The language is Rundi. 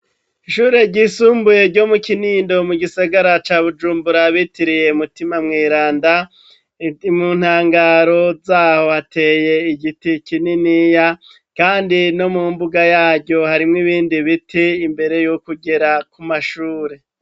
Ishure ryisumbuye ryo mu Kinindo mu gisagara ca Bujumbura bitiriye mutima mweranda, mu ntangaro zaho hateye igiti kininiya, kandi no mu mbuga yaryo harimwo ibindi biti imbere yo kugera ku mashuri.